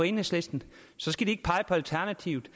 enhedslisten alternativet